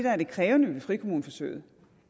af det krævende ved frikommuneforsøget